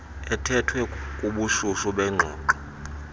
ethethwe kubushushu bengxoxo